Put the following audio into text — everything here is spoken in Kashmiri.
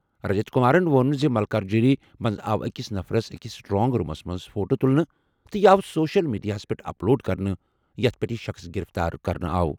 رجت کمارَن ووٚن زِ ملکاجگیری منٛز آو أکِس نفرَس أکِس سٹرانگ رومس منٛز فوٹو تُلنہٕ تہٕ یہِ آو سوشل میڈیاہَس پٮ۪ٹھ اپ لوڈ کرنہٕ، یَتھ پٮ۪ٹھ یہِ شخٕص گِرِفتار کرنہٕ آمُت چھُ۔